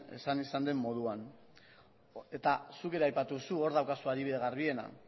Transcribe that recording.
esan izan den moduan eta zuk ere aipatu duzu hor daukazu adibide garbiena